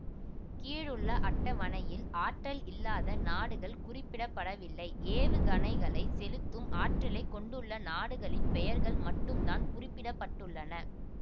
கீழ் உள்ள அட்டவணையில் ஆற்றல் இல்லாத நாடுகள் குறிப்பிட படவில்லை ஏவுகனைகளை செலுத்தும் ஆற்றலை கொண்டுள்ள நாடுகளின் பெயர்கள் மட்டும் தான் குறிப்பிட பட்டுள்ளன